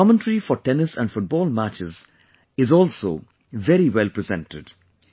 The commentary for tennis and football matches is also very well presented